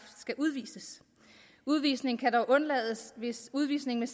skal udvises udvisningen kan dog undlades hvis udvisningen